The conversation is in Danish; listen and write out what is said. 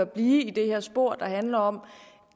blive i det her spor der handler om